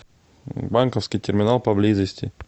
банковский терминал поблизости